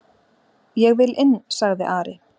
"""Ég vil inn, sagði Ari."""